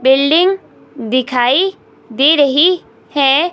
Building दिखाई दे रही है।